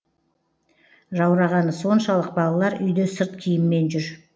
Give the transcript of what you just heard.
жаурағаны соншалық балалар үйде сырт киіммен жүр